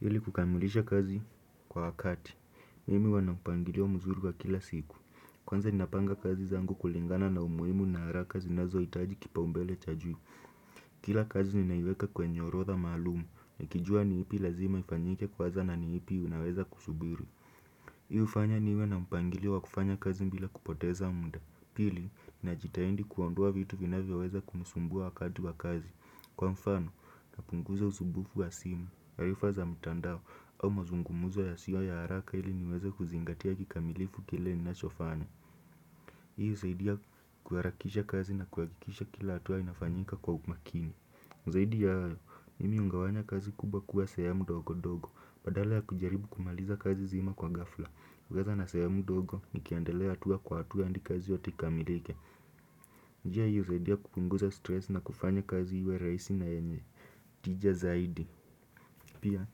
Hili kukamilisha kazi kwa wakati, mimi wanapangilio mzuri kwa kila siku kwanza ninapanga kazi kulingana na umuhimu na haraka zinazohitaji kipaombele cha juu. Kila kazi ninaiweka kwenye orotha malumu, nikijua ni ipi lazima ifanyike kwaza na ni ipi unaweza kusubiri. Hi ufanya niwe na mpangiliwo kufanya kazi mbila kupoteza munda. Pili, najitaindi kuondoa vitu vinafyo weza kumusumbua wakati wa kazi. Kwa mfano, napunguza uzubufu wa simu, ayufa za mtandao au mazungumuzo ya siyo ya haraka ili niweze huzingatia kikamilifu kile ni nachofanya. Hiyo huzaidia kuwarakisha kazi na kuwagikisha kila atuwa inafanyika kwa umakini zaidi ya hayo, mimi ugawanya kazi kubwa kuwa sahemu ndogo ndogo. Badala ya kujaribu kumaliza kazi zima kwa gafla. Kukaza na sehemu ndogo, nikiandelea atuwa kwa atuwa hadi kazi yote ikamilike. Njia hiyo husaidia kupunguza stress na kufanya kazi iwe rahisi na yenye tija zaidi. Pia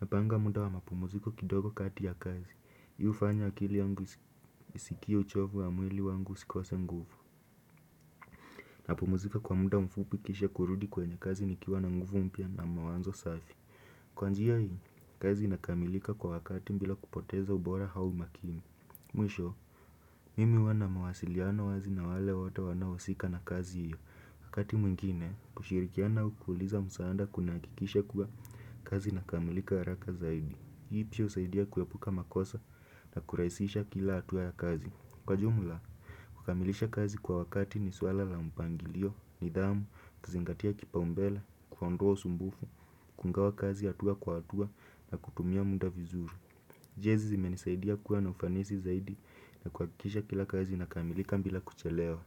napanga muda wa mapumziko kidogo kati ya kazi. Hii hufanya akili yangu isikie uchovu ya mwili wangu sikose nguvu. Napumzika kwa muda mfupi kisha kurudi kwenye kazi nikiwa na nguvu mpya na mawazo safi. Kwanjia hii, kazi nakamilika kwa wakati bila kupoteza ubora au makimi. Mwisho, mimi wuwana mawasiliano wazi na wale wote wanahu sika na kazi hiyo. Wakati mwingine, kushirikiana aukuliza musaada kuna akikisha kuwa kazi na kamilika haraka zaidi. Hii pia usaidia kuwepuka makosa na kurahisisha kila atuwa ya kazi. Kwa jumla, kukamilisha kazi kwa wakati ni suala la mpangilio, nidhamu, kazingatia kipa umbele, kuonda usumbufu, kugawa kazi atuwa kwa atuwa na kutumia muda vizuru. Jezi zimenisaidia kuwa na ufanisi zaidi na kuakisha kila kazi na kamilika mbila kuchelewa.